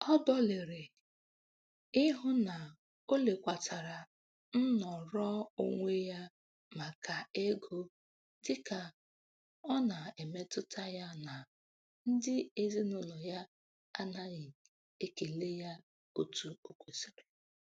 Ọ dọlịrị ịhụ na o lekwatara nnọrọonwe ya maka ego dịka ọ na-emetụta ya na ndị ezinaụlọ ya anaghị ekele ya otu o kwesiri.